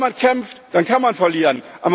Wenn man kämpft, dann kann man verlieren.